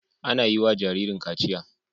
Ana yi wa jaririn kaciya.